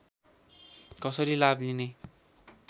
कसरी लाभ लिने